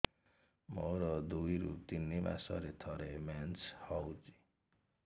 ମୋର ଦୁଇରୁ ତିନି ମାସରେ ଥରେ ମେନ୍ସ ହଉଚି